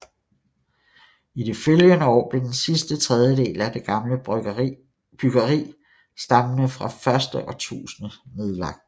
I de følgende år blev den sidste tredjedel af det gamle byggeri stammende fra det første årtusinde nedlagt